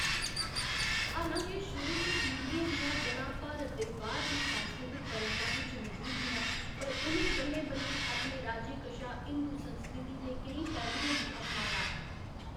हालां के शुरू च पीढ़ियें दियां ज'ड़ां भारत दे बाह्‌‌र दी सांस्कृतक परंपराएं च मजूद हियां, पर उ'नें बल्लें बल्लें अपने राज्यें कशा हिंदू संस्कृति दे केईं पैह्‌लुएं गी अपनाया।